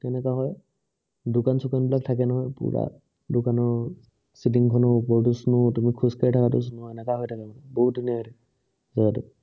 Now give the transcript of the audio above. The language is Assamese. তেনেকুৱা হয় দোকান চুকান বিলাক থাকে নহয় পুৰা দোকানৰ চিলিং খনৰ ওপৰেদি snow তুমি খোজ কাঢ়ি থাকা এনেকুৱা হয় থাকে মানে বহুত ধুনীয়া হয় থাকে জেগাটো